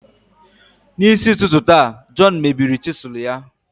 N'isi ụtụtụ taa, John mebiri chisel ya.